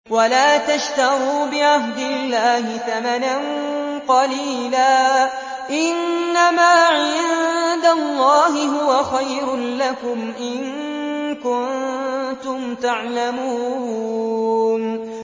وَلَا تَشْتَرُوا بِعَهْدِ اللَّهِ ثَمَنًا قَلِيلًا ۚ إِنَّمَا عِندَ اللَّهِ هُوَ خَيْرٌ لَّكُمْ إِن كُنتُمْ تَعْلَمُونَ